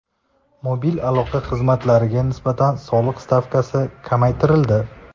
Mobil aloqa xizmatlariga nisbatan soliq stavkasi kamaytirildi.